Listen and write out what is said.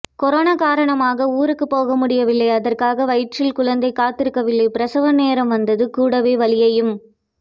corona காரணமாக ஊருக்கு போக முடியவில்லை அதற்காக வயிற்றில் குழந்தை காத்திருக்கவில்லை பிரசவ நேரம் வந்தது கூடவே வலியையும்